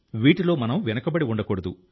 వీటిలో మనం వెనుకబడి ఉండకూడదు